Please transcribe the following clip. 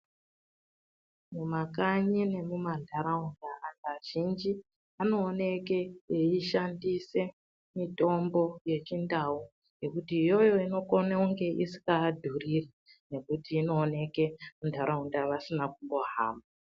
Mumakanyii nemumantaraunda antu azhinji munooneka muchishandiswa mitombo yechindau ngekuti iyiyo inokone kunge isingava dhuriri ngekuti inooneka muntaraunda vasina kumbohamba.